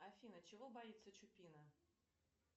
афина чего боится чупина